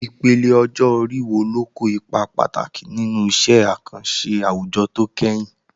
Ìpele ọjọ́ orí wo ló kó ipa pàtàkì nínú iṣẹ́ àkànṣe àwùjọ tó kẹ́yìn?